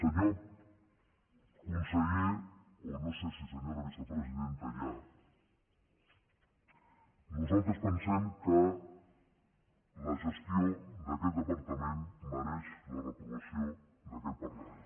senyor conseller o no sé si senyora vicepresidenta ja nosaltres pensem que la gestió d’aquest departament mereix la reprovació d’aquest parlament